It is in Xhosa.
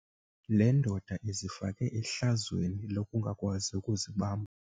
Le ndoda izifake ehlazweni lokungakwazi ukuzibamba.